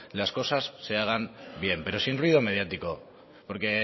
las cosas se hagan bien pero sin ruido mediático porque